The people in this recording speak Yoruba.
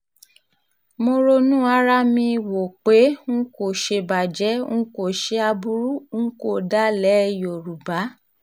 mo ronú ara mi wò pé n kò ṣèbàjẹ́ n kò ṣe aburú ń kọ́ dalẹ̀ yorùbá